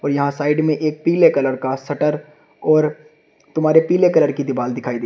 यहां साइड में एक पीले कलर का शटर और तुम्हारे पीले कलर की दीवार दिखाई दे--